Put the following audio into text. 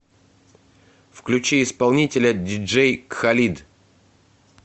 включи исполнителя диджей халид